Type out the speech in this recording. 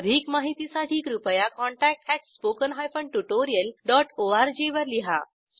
अधिक माहितीसाठी कृपया contact at spoken hyphen tutorial dot ORG वर लिहा